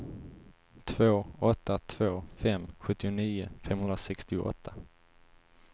två åtta två fem sjuttionio femhundrasextioåtta